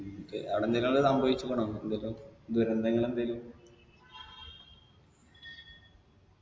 അവിടെന്തേലു ഒക്കെ സംഭവിച്ച് ക്കണോ എന്തേലും ദുരന്തങ്ങളെന്തേലും